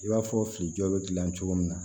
I b'a fɔ fili jɔ bɛ dilan cogo min na